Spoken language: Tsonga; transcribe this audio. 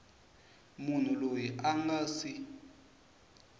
munhu loyi a nga si